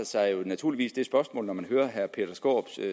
sig naturligvis det spørgsmål når man hører herre peter skaarups